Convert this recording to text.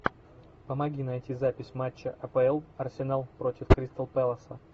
помоги найти запись матча апл арсенал против кристал пэлас